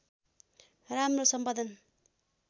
राम्रो सम्पादन